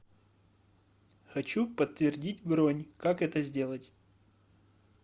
хочу подтвердить бронь как это сделать